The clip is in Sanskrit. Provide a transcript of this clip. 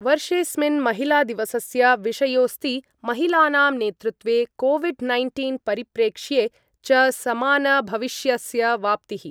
वर्षेस्मिन् महिलादिवसस्य विषयोस्ति महिलानां नेतृत्वे कोविड् नैन्टीन् परिप्रेक्ष्ये च समानभविष्यस्य वाप्तिः।